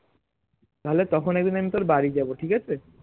তাহলে তখন একদিন আমি তোর বাড়ি যাবো ঠিকাছে